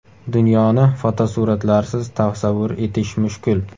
Dunyoni fotosuratlarsiz tasavvur etish mushkul.